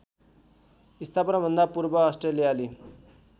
स्थापनाभन्दा पूर्व अस्ट्रेलियाली